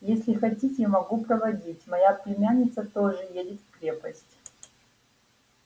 если хотите могу проводить моя племянница тоже едет в крепость